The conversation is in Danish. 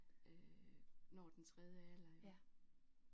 Øh når den tredje alder ik